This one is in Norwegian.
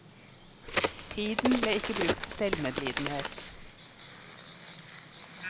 Tiden ble ikke brukt til selvmedlidenhet.